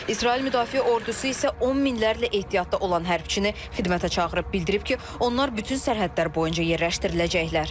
İsrail Müdafiə ordusu isə on minlərlə ehtiyatda olan hərbiçini xidmətə çağırıb, bildirib ki, onlar bütün sərhədlər boyunca yerləşdiriləcəklər.